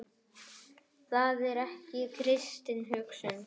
Það er ekki kristin hugsun.